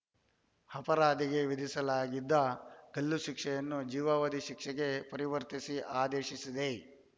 ಅಪರಾಧಿಗೆ ವಿಧಿಸಲಾಗಿದ್ದ ಗಲ್ಲುಶಿಕ್ಷೆಯನ್ನು ಜೀವಾವಧಿ ಶಿಕ್ಷೆಗೆ ಪರಿವರ್ತಿಸಿ ಆದೇಶಿಸಿದೆ